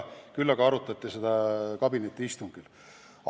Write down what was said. Küll aga arutati seda kabinetiistungil.